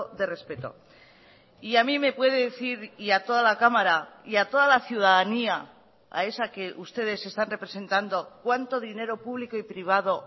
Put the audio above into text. de respeto y a mí me puede decir y a toda la cámara y a toda la ciudadanía a esa que ustedes están representando cuánto dinero público y privado